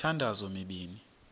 le mithandazo mibini